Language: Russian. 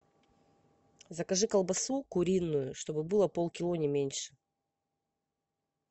закажи колбасу куриную чтобы было полкило не меньше